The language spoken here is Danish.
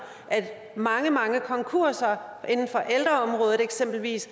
at mange mange konkurser eksempelvis